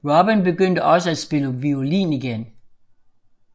Robin begyndte også at spille violin igen